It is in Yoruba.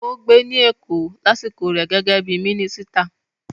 Ó gbé ní Èkó lásìkò rẹ̀ gẹ́gẹ́ bí i mínísítà.